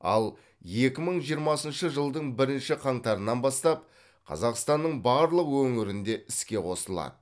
ал екі мың жиырмасыншы жылдың бірінші қаңтарынан бастап қазақстанның барлық өңірінде іске қосылады